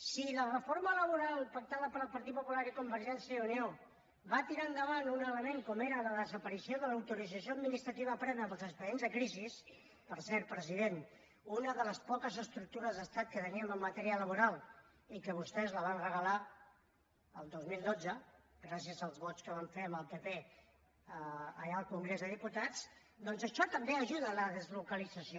si la reforma laboral pactada pel partit popular i convergència i unió va tirar endavant un element com era la desaparició de l’autorització administrativa prèvia per als expedients de crisi per cert president una de les poques estructures d’estat que teníem en matèria laboral i que vostès la van regalar el dos mil dotze gràcies als vots que van fer amb el pp allà al congrés dels diputats doncs això també ajuda a la deslocalització